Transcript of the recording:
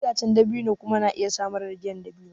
Itacen dabino kuma na iya samar da giyar dabino.